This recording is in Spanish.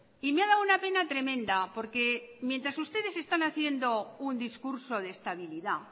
y me ha dado una pena tremenda porque mientras ustedes están haciendo un discurso de estabilidad